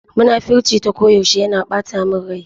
Munafurcin ta ko yaushe yana ɓata min rai.